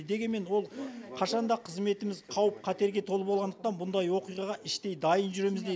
дегенмен ол қашан да қызметіміз қауіп қатерге толы болғандықтан бұндай оқиғаға іштей дайын жүреміз дейді